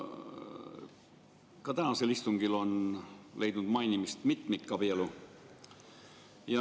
Ka tänasel istungil on leidnud mainimist mitmikabielu.